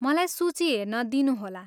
मलाई सूची हेर्न दिनुहोला।